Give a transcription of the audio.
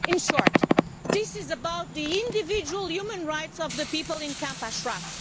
In short, this is about the individual human rights of the people in Camp Ashraf.